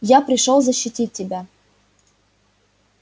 я пришёл защитить тебя